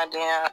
A dɔgɔya